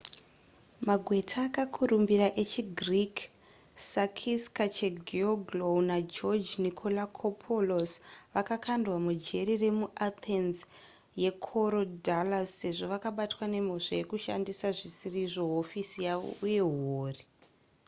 magweta akakurumbira echigreek sakis kechagioglou nageoge nikolakopoulos vakakandwa mujeri remuathens yekorydallus sezvo vakabatwa nemhosva yekushandisa zvisizvo hofisi yavo uye huori